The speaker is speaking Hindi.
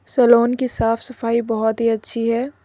सैलून की साफ सफाई बहुत ही अच्छी है।